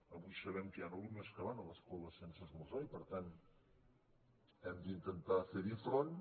avui sabem que hi han alumnes que van a l’escola sense esmorzar i per tant hem d’intentar ferhi front